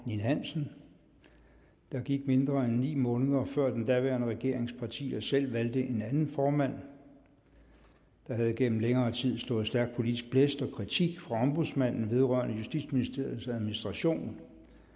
ninn hansen der gik mindre end ni måneder før den daværende regerings partier selv valgte en anden formand der havde gennem længere tid stået stærk politisk blæst om og kritik fra ombudsmanden vedrørende justitsministeriets administration